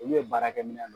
Olu ye baarakɛminɛ